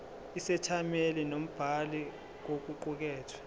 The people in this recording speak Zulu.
isethameli nombhali kokuqukethwe